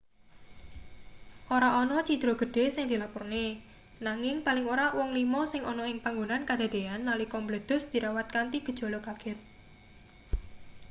ora ana cidra gedhe sing dilapurne nanging paling ora wong lima sing ana ing panggonan kadadeyan nalika mbledhos dirawat kanthi gejala kaget